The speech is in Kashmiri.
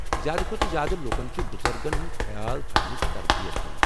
زیادٕ کھوتہٕ زیادٕ لُکن چھِ بُزرگن ہنٛدۍ خیال تھونٕچ تربِیت دِنۍ ۔